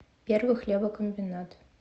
первый хлебокомбинат